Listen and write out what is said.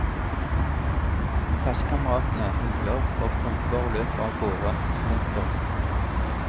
Klassekameratene huier og roper og løper av gårde. punktum